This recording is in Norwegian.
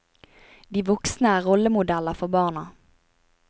De voksne er rollemodeller for barna.